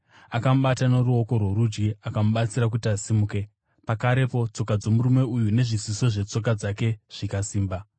Akamubata noruoko rworudyi, akamubatsira kuti asimuke, pakarepo tsoka dzomurume uyu nezviziso zvetsoka dzake zvikasimba.